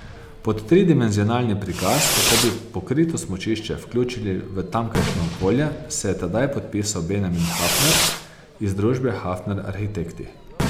Pod tridimenzionalni prikaz, kako bi pokrito smučišče vključili v tamkajšnje okolje, se je tedaj podpisal Benjamin Hafner iz družbe Hafner arhitekti.